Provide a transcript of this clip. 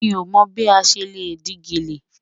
Mi o mọ́ bí a ṣẹ́ le dì gẹlẹ́.